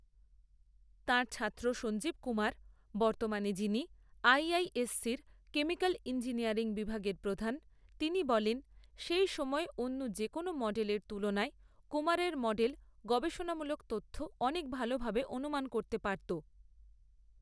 তাঁর ছাত্র সঞ্জীব কুমার, বর্তমানে যিনি আইআইএসসির কেমিক্যাল ইঞ্জিনিয়ারিং বিভাগের প্রধান, তিনি বলেন, সেই সময়ে অন্য যেকোনও মডেলের তুলনায় কুমারের মডেল গবেষণামূলক তথ্য অনেক ভালোভাবে অনুমান করতে পারত।